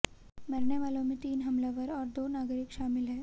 मरने वालों में तीन हमलावर और दो नागरिक शामिल हैं